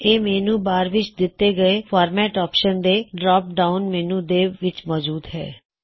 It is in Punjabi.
ਇਹ ਮੈੱਨਯੂ ਬਾਰ ਵਿੱਚ ਦਿੱਤੇ ਹੋਏ ਫ਼ੌਰਮੈਟ ਆਪਸ਼ਨ ਦੇ ਡਰੌਪ ਡਾਉਨ ਮੈੱਨਯੂ ਦੇ ਵਿੱਚ ਮੌਜੂਦ ਹੈ